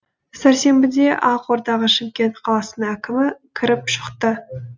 сәрсенбіде ақордаға шымкент қаласының әкімі кіріп шықты